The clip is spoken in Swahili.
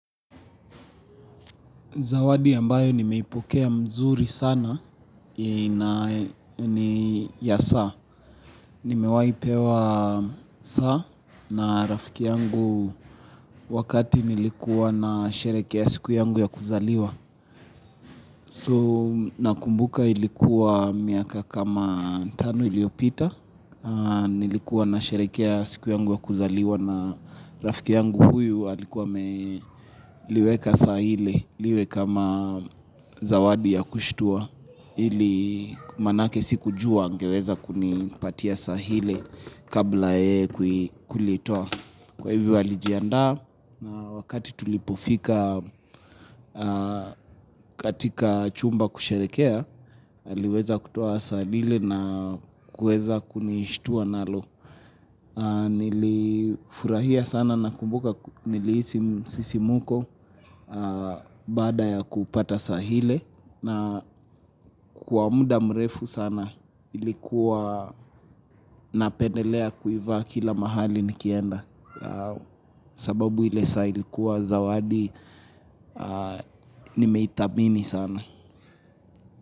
Zawadi ambayo nimeipokea mzuri sana ni ya saa. Nimewahi pewa saa na rafiki yangu wakati nilikuwa na sherehekea ya siku yangu ya kuzaliwa. So nakumbuka ilikuwa miaka kama tano iliyopita. Nilikuwa na sherehekea siku yangu ya kuzaliwa na rafiki yangu huyu. Walikuwa walikuwa wameliweka saa ile liwe kama zawadi ya kushtua ili maanake sikujua angeweza kunipatia saa ile kabla ya yeye kulitoa kwa hivyo alijandaa na wakati tulipofika katika chumba kusherehekea aliweza kutoa saa lile na kueza kunishtua nalo nilifurahia sana nakumbuka nilisi msisimko baada ya kupata saa ile na kwa muda mrefu sana ilikuwa napendelea kuivaa kila mahali nikienda sababu ile saa ilikuwa zawadi nimethamini sana.